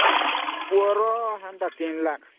ପୁଅ ର 3 Lakh